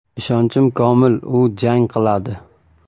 Ishonchim komil, u jang qiladi.